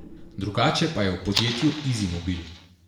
Drugače pa je v podjetju Izimobil.